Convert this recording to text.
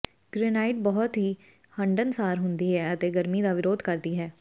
granite ਬਹੁਤ ਹੀ ਹੰਢਣਸਾਰ ਹੁੰਦੀ ਹੈ ਅਤੇ ਗਰਮੀ ਦਾ ਵਿਰੋਧ ਕਰਦੀ ਹੈ